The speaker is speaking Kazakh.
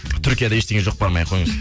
түркияда ештеңе жоқ бармай ақ қойыңыз